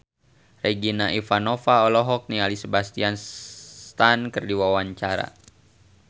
Regina Ivanova olohok ningali Sebastian Stan keur diwawancara